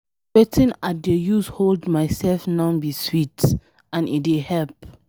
Wetin I dey use hold myself now be sweet and e dey help.